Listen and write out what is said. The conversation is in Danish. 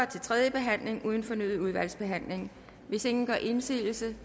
til tredje behandling uden fornyet udvalgsbehandling hvis ingen gør indsigelse